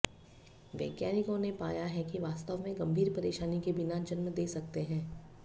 वैज्ञानिकों ने पाया है कि वास्तव में गंभीर परेशानी के बिना जन्म दे सकते हैं